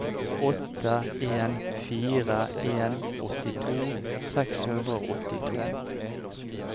åtte en fire en åttito seks hundre og åttito